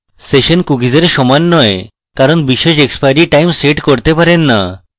অতএব session cookies সমান নয় কারণ আপনি বিশেষ এক্সপাইরী time set করতে পারেন so